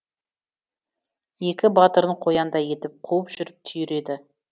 екі батырын қояндай етіп қуып жүріп түйреді